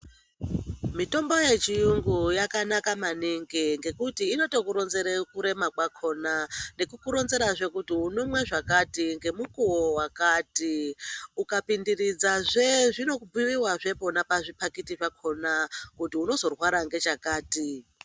Mitombo yechiyungu yakanaka maningi ngekuti inotokuronzere kurema kwakhona nekukuronzerazve kuti unomwe zvakati ngemukuwo wakati. Ukapindiridzazve zvinobhuiwazve pona pazviphakiti pakhona kuti unozorwara ngechakati.